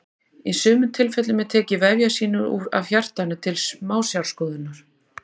í sumum tilfellum er tekið vefjasýni af hjartanu til smásjárskoðunar